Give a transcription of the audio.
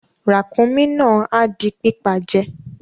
Ràkúnmí náà a di pípa je